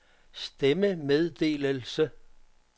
stemmemeddelelse